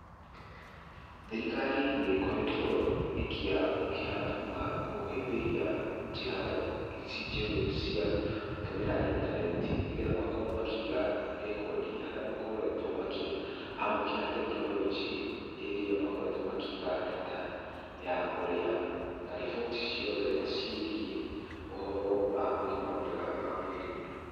Thirikari nĩ ĩkoretwo ĩkĩamũkĩra na kũhĩmbĩria njĩra ici njerũ cia gũtũmĩra intaneti, nĩgetha makorwo makĩiga rekodi , harĩa makoretwo makĩamũkĩra tekinoronjĩ iria makoretwo makĩiga data ya ũrĩa, na riboti ciothe ciĩgiĩ ũhoro wĩgiĩ ũgima mwega wa mwĩrĩ.